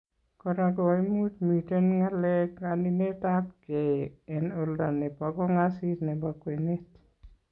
Kora koimuchi miten ngalekab kaninetab kee en oldo nebo kong'assis nebo kwenet .